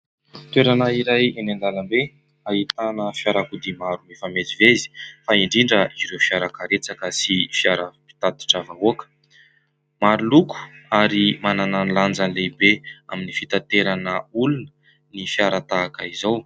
Toerana iray eny andalam-be, ahitana fiarakodia maro mifamezivezy fa indrindra ireo fiara karetsaka sy fiara mpitatitra vahoaka. Maro loko ary manana ny lanjany lehibe amin'ny fitanterana olona ny fiara tahaka izao.